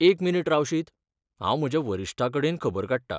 एक मिनीट रावशीत, हांव म्हज्या वरिश्ठां कडेन खबर काडटां.